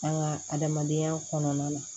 An ka adamadenya kɔnɔna na